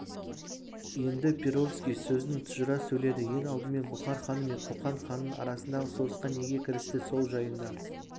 енді перовский сөзін тұжыра сөйледі ең алдымен бұхар ханы мен қоқан ханының арасындағы соғысқа неге кірісті сол жайында